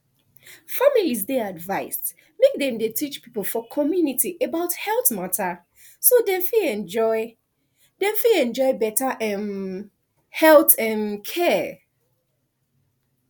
families dey advised make dem dey teach people for community about health matter so dem fit enjoy dem fit enjoy better um health um care